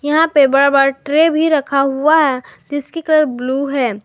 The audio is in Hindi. यहां पे बड़ा बड़ा ट्रे भी रखा हुआ है जिसकी कलर ब्लू है।